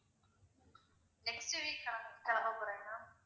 next week கிளம்~ கிளம்ப போறேன் ma'am